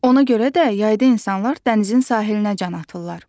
Ona görə də yayda insanlar dənizin sahilinə can atırlar.